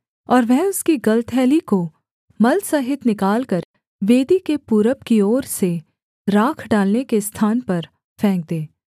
और वह उसकी गलथैली को मल सहित निकालकर वेदी के पूरब की ओर से राख डालने के स्थान पर फेंक दे